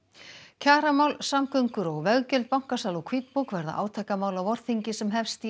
kjaramál samgöngur og veggjöld bankasala og hvítbók verða átakamál á vorþingi sem hefst í